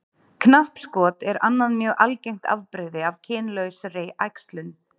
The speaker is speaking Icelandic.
Knappskot er annað mjög algengt afbrigði af kynlausri æxlun.